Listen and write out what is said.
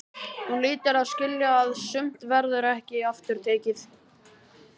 Hún hlýtur að skilja að sumt verður ekki aftur tekið.